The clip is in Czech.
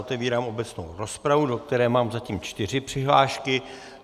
Otevírám obecnou rozpravu, do které mám zatím čtyři přihlášky.